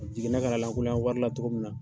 A jiginna ka na lakunlokɛ wari la cogo min na